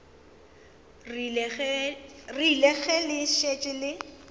rile ge le šetše le